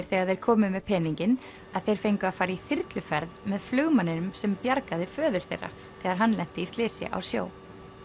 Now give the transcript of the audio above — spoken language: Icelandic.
þegar þeir komu með peninginn að þeir fengu að fara í þyrluferð með flugmanninum sem bjargaði föður þeirra þegar hann lenti í slysi á sjó